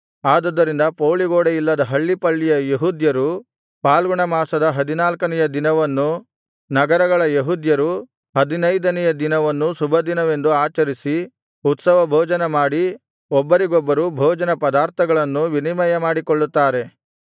ಆದುದರಿಂದ ಪೌಳಿಗೋಡೆ ಇಲ್ಲದ ಹಳ್ಳಿಪಳ್ಳಿಯ ಯೆಹೂದ್ಯರು ಫಾಲ್ಗುಣಮಾಸದ ಹದಿನಾಲ್ಕನೆಯ ದಿನವನ್ನೂ ನಗರಗಳ ಯೆಹೂದ್ಯರು ಹದಿನೈದನೆಯ ದಿನವನ್ನೂ ಶುಭದಿನವೆಂದು ಆಚರಿಸಿ ಉತ್ಸವಭೋಜನಮಾಡಿ ಒಬ್ಬರಿಗೊಬ್ಬರು ಭೋಜನ ಪದಾರ್ಥಗಳನ್ನು ವಿನಿಮಯ ಮಾಡಿಕೊಳ್ಳುತ್ತಾರೆ